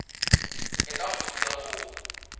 e tla go thusa go